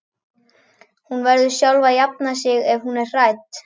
Hún verður sjálf að jafna sig ef hún er hrædd.